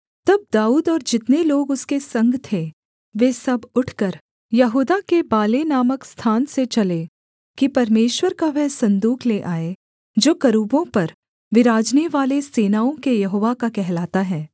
तब दाऊद और जितने लोग उसके संग थे वे सब उठकर यहूदा के बाले नामक स्थान से चले कि परमेश्वर का वह सन्दूक ले आएँ जो करूबों पर विराजनेवाले सेनाओं के यहोवा का कहलाता है